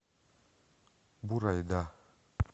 бурайда